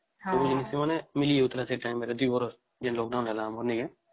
ମିଳି ଯାଉଥିଲା ସେ time ରେ ଦୁଇପର ଯେ lockdown ହେଲା ମାନେନହିଁ କି